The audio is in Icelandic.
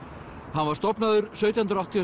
hann var stofnaður sautján hundruð áttatíu